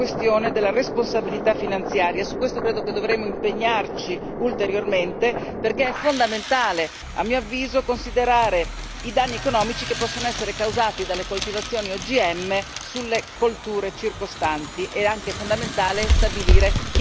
su questo credo che dovremo impegnarci ulteriormente, perché è fondamentale a mio avviso considerare i danni economici che possono essere causati dalle coltivazioni OGM sulle colture circostanti ed è anche fondamentale stabilire chi deve pagare questi danni che vengono provocati.